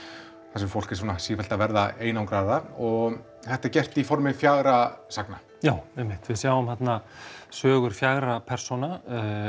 þar sem fólk er sífellt að verða einangraðra og þetta er gert í formi fjögurra sagna já einmitt við sjáum þarna sögur fjögurra persóna